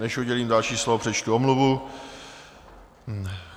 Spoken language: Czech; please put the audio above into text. Než udělím další slovo, přečtu omluvu.